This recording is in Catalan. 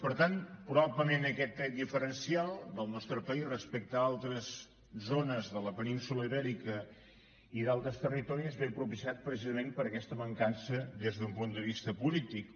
per tant probablement aquest tret diferencial del nostre país respecte a altres zones de la península ibèrica i d’altres territoris ve propiciat precisament per aquesta mancança des d’un punt de vista polític